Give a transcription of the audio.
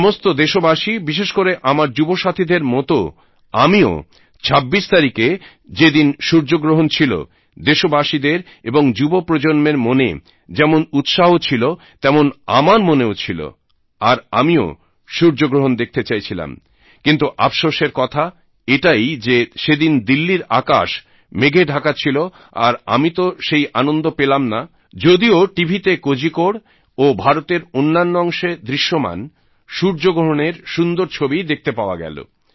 সমস্ত দেশবাসী বিশেষ করে আমার যুব সাথীদের মতও আমিও ২৬ তারিখে যে দিন সূর্যগ্রহণ ছিল দেশবাসীদের এবং যুব প্রজন্মের মনে যেমন উৎসাহ ছিল তেমন আমার মনেও ছিল আর আমিও সূর্যগ্রহণ দেখতে চাইছিলাম কিন্তু আফশোসের কথা এটাই যে সেদিন দিল্লীর আকাশ মেঘে ঢাকা ছিল আর আমি তো সেই আনন্দ পেলাম না যদিও টিভিতে কোজিকোড় ও ভারতের অন্যান্য অংশে দৃশ্যমান সূর্যগ্রহণের সুন্দর ছবি দেখতে পাওয়া গেল